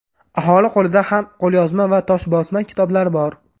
Aholi qo‘lida ham qo‘lyozma va toshbosma kitoblar bor.